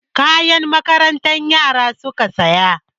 Kayan makaranta yara suka saya.